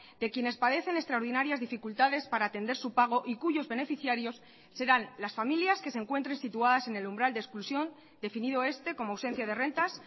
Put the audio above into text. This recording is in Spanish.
de quienes padecen extraordinarias dificultades para atender su pago y cuyos beneficiarios serán las familias que se encuentren situadas en el umbral de exclusión definido este como ausencia de rentas